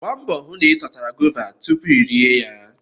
Gbaa mbọ hụ na ị sachara guavas tupu iri ya!